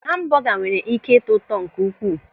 Hambọga nwere ị́ké ịtọ ụtọ nke ukwuu.